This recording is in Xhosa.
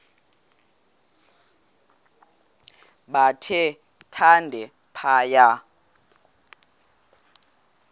bathe thande phaya